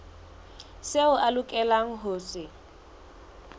seo a lokelang ho se